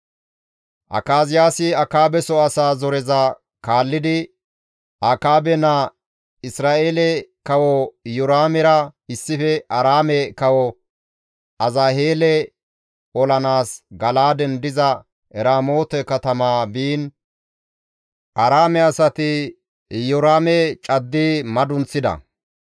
Akaziyaasi Akaabeso asaa zoriza kaallidi Akaabe naa Isra7eele Kawo Iyoraamera issife Aaraame kawo Azaheele olanaas Gala7aaden diza Eramoote katama biin Aaraame asati Iyoraame caddi madunththida.